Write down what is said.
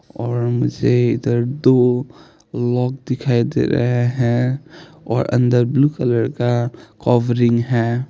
और मुझे इधर दो लोक दिखाई दे रहे है और अंदर ब्लू कलर का कवरिंग है।